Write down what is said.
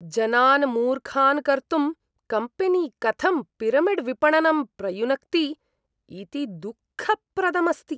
जनान् मूर्खान् कर्तुं कम्पेनी कथं पिरमिड्विपणनं प्रयुनक्ति इति दुःखप्रदम् अस्ति।